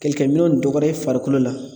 Kɛlɛkɛminɛnw dɔgɔyara i farikolo la.